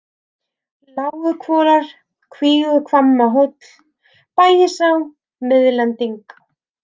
Láguhvolar, Kvíguhvammahóll, Bægisá, Miðlending